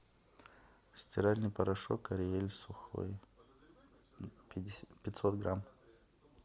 стиральный порошок ариэль сухой пятьсот грамм